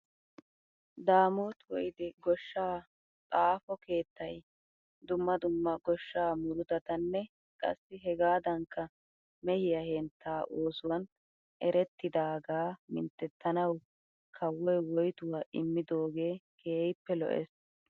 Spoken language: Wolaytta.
Daamoot Woyde goshshaa xaafo keettay dumma dumma goshsha muruttatanne qassi hegaadankka mehiyaa henttaa oosuwan erettidaagaa minttetanawu kawoy woytuwaa immidoogee keehippe lo'ees.